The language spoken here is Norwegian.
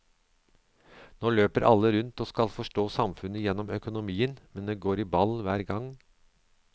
Nå løper alle rundt og skal forstå samfunnet gjennom økonomien, men det går i ball hver gang.